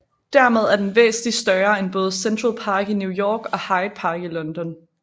Dermed er den væsentligt større end både Central Park i New York og Hyde Park i London